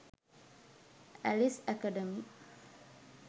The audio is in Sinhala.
alice academy